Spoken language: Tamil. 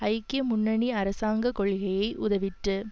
ஐக்கிய முன்னணி அரசாங்க கொள்கையை உதவிற்று